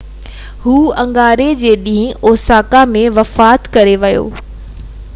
هُو اڱاري جي ڏينهن اوساڪا ۾ وفات ڪري ويو